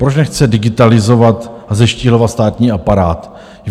Proč nechce digitalizovat a zeštíhlovat státní aparát?